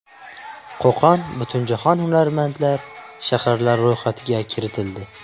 Qo‘qon butunjahon hunarmandlar shaharlari ro‘yxatiga kiritildi .